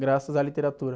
graças à literatura.